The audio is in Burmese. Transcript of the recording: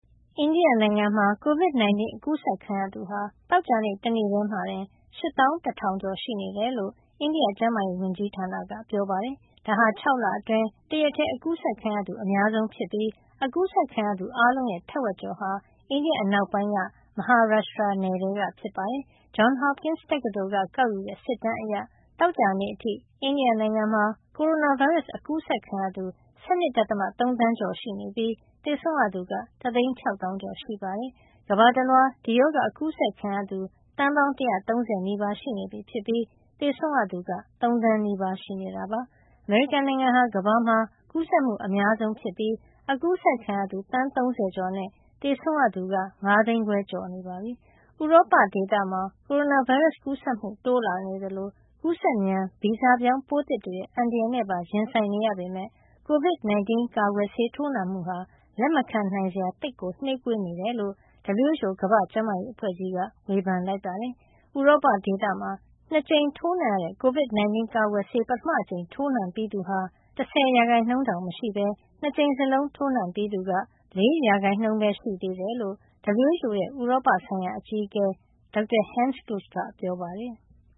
အိန္ဒိယနိုင်ငံမှာ COVID-19 အကူးစက်ခံရသူဟာ သောကြာနေ့တနေ့ ထဲမှာတင် ၈၁,၀၀၀ ကျော်ရှိနေတယ်လို့ အိန္ဒိယ ကျန်းမာရေးဝန်ကြီးဌာနက ပြောပါတယ်။ ဒါဟာ ၆ လအတွင်း တရက်ထည်း အကူးစက်ခံရသူ အများဆုံးစံတင်သွားတာ ဖြစ်ပြီး အကူးစက်ခံရသူ အားလုံးရဲ့ ထက်ဝက်ကျော်ဟာ အိန္ဒိယအနောက်ပိုင်းက Maharashtra ထဲက ဖြစ်ပါတယ်။ Johns Hopkins တက္ကသိုလ်က ကောက်ယူတဲ့ စစ်တမ်းအရ သောကြာနေ့ အထိ အိန္ဒိယနိုင်ငံမှာ ကိုရိုနာဗိုင်းရပ်စ် အကူးစက်ခံရသူ ၁၂.၃ သန်းကျော်ရှိပြီး သေဆုံးရသူက တသိန်း ၆ သောင်းကျော် ရှိပါတယ်။ ကမ္ဘာတလွှား ဒီရောဂါအကူးစက်ခံရသူ သန်းပေါင်း ၁၃၀ နီးပါး ရှိနေပြီဖြစ်ပြီး သေဆုံးရသူက ၃ သန်းနီးပါးရှိနေတာပါ။ အမေရိကန်နိုင်ငံဟာ ကမ္ဘာမှာ ကူးစက်မှု အများဆုံးဖြစ်ပြီး အကူးစက်ခံရသူ သန်း ၃၀ ကျော်နဲ့ သေဆုံးရသူ ၅ သိန်းခွဲကျော်နေပါပြီ။ ဥရောပဒေသမှာ ကိုရိုနာဗိုင်းရပ်စ် ကူးစက်မှုတိုးလာနေသလို ကူးစက်မြန် ဗီဇပြောင်း ပိုးသစ်တွေရဲ့ အန္တရာယ်နဲ့ ပါရင်ဆိုင်နေရပေမယ် COVID 19 ကာကွယ်ဆေးထိုးနှံမှုဟာ လက်မခံနိုင်စရာ သိပ်နှေးကွေးနေတယ်လို့ WHO ကမ္ဘာ့ကျန်းမာရေး အဖွဲ့ကြီးက ဝေဖန်လိုက်ပါတယ်။ ဥရောပဒေသမှာ ၂ ခါထိုးနှံရတဲ့ COVDI 19 ကာကွယ်ဆေး ပထမအကြိမ်ထိုးနှံပြီးသူဟာ ၁၀ % တောင် မရှိပဲ ၂ ကြိမ်စလုံးထိုးပြီးသူက ၄ % ပဲ ရှိသေးတယ်လို့ WHO ရဲ့ဥရောပဆိုင်ရာ အကြီးအကဲ Dr. Hans Kluge ကပြောပါတယ်။